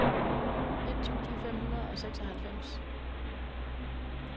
et tusind fem hundrede og seksoghalvfems